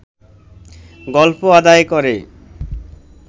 গল্প আদায় করে